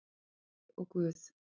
Afi og Guð!